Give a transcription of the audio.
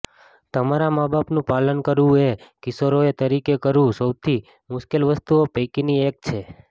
તમારા માબાપનું પાલન કરવું એ કિશોરો તરીકે કરવું સૌથી મુશ્કેલ વસ્તુઓ પૈકીનું એક છે